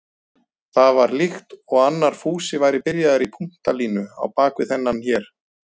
Það var líkt og annar Fúsi væri byrjaður í punktalínu á bak við þennan hér.